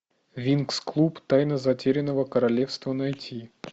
винкс клуб тайна затерянного королевства найти